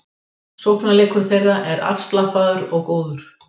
Sóknarleikur þeirra er afslappaður og góður